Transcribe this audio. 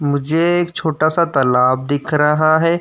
मुझे एक छोटा-सा तलाब दिख रहा है।